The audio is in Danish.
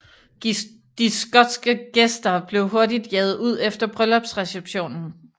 De skotske gæster blev hurtigt jaget ud efter bryllupsreceptionen